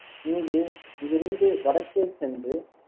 இங்கு இருந்து வடக்கே சென்று